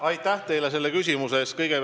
Aitäh teile selle küsimuse eest!